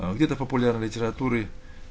где-то популярной литературы